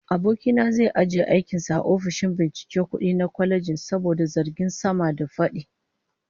Aboki na zai ajiye aikin sa a ofishin binciken kudi na kwalejin saboda zargin sama-da-fadi